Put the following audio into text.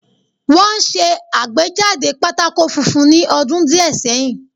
Wọ́n ṣe àgbéjáde pátákó funfun ní ọdún díẹ̀ sẹ́yìn